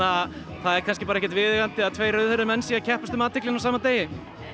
það er kannski ekkert viðeigandi að tveir rauðhærðir menn séu að keppast um athyglina á sama degi